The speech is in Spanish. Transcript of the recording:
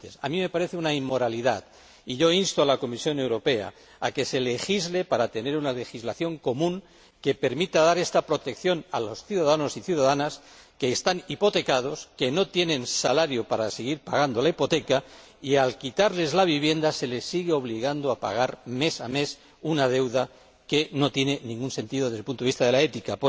A mí, lo que se hace en España me parece una inmoralidad, y yo insto a la Comisión Europea a que se legisle para tener una legislación común que permita dar esta protección a los ciudadanos y ciudadanas que están hipotecados, que no tienen salario para seguir pagando la hipoteca y a quienes, a pesar de quitarles la vivienda, se sigue obligando a pagar mes a mes una deuda que no tiene ningún sentido desde el punto de vista de la ética.